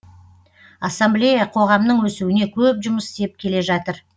ассамблея қоғамның өсуіне көп жұмыс істеп келе жатыр